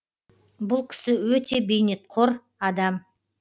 бұл кісі өте бейнетқор адам